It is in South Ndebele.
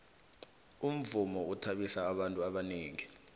umvumo uthabisa abantu abanengi